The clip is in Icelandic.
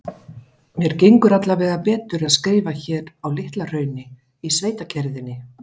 Mér gengur allavega betur að skrifa hér á Litla-Hrauni, í sveitakyrrðinni.